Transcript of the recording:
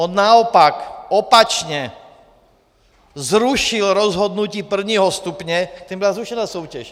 On naopak opačně zrušil rozhodnutí prvního stupně, tím byla zrušena soutěž.